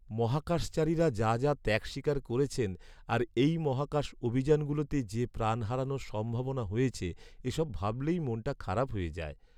মহাকাশচারীরা যা যা ত্যাগ স্বীকার করেছেন, আর এই মহাকাশ অভিযানগুলোতে যে প্রাণ হারানোর সম্ভাবনা হয়েছে, এসব ভাবলেই মনটা খারাপ হয়ে যায়ে।